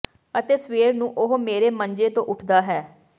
ਅਤੇ ਸਵੇਰ ਨੂੰ ਉਹ ਮੇਰੇ ਮੰਜੇ ਤੋਂ ਉੱਠਦਾ ਹੈ